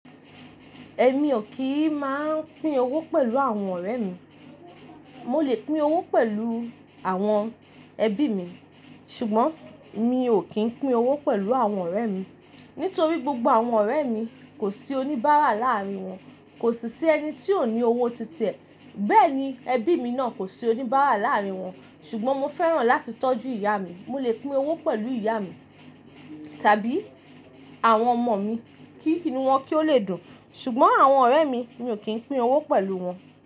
Ẹ̀mi ò kì í máa ń pín owó pẹ̀lú àwọn ọ̀rẹ́ mi. Mo lè pín owó pẹ̀lú àwọn ẹbí mi, ṣùgbọ́n mi ò kì ń pín owó pẹ̀lú àwọn ọ̀rẹ́ mi. Nítorí gbogbo àwọn ọ̀rẹ́ mi kò sí oníbàárà láàrín wọn, kò sì sí ẹni tí ó ní owó ti tiẹ̀. Bẹ́ẹ̀ ni ẹbí mi náà kò sí oníbàárà láàárín wọn. Ṣùgbọ́n mo fẹ́ràn láti tọ́jú ìyá mi. Mo lè pín owó pẹ̀lú ìyá mi tàbí àwọn ọmọ mi kí inú wọn kí ó lè dùn. Ṣùgbọ́n àwọn ọ̀rẹ́ mi, mi ò kì ń pín owó pẹ̀lú wọn.